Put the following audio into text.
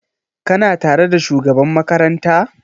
Ka na tare da shugaban makaranta?